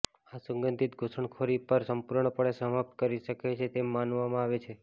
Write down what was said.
આ સુગંધિત ઘૂસણખોરી પર સંપૂર્ણપણે સમાપ્ત કરી શકે તેમ માનવામાં આવે છે